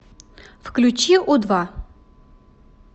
включи у два